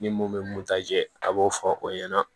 Ni mun bɛ mun ta jɛ a b'o fɔ o ɲɛna